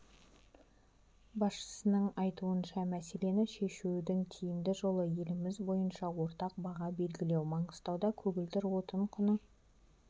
басшысының айтуынша мәселені шешудің тиімді жолы еліміз бойынша ортақ баға белгілеу маңғыстауда көгілдір отын құны